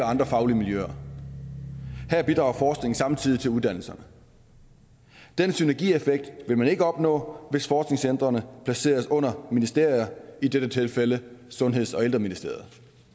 andre faglige miljøer her bidrager forskningen samtidig til uddannelserne den synergieffekt vil man ikke opnå hvis forskningscentrene placeres under ministerier i dette tilfælde sundheds og ældreministeriet